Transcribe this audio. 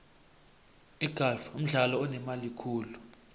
igalfu mdlalo onemali khulu